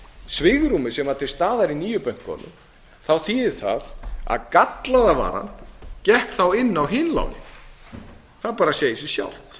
svigrúmið sem var til staðar í nýju bönkunum þá þýðir það að gallaða varan gekk þá hinn á hin lánin það bara segir sig sjálft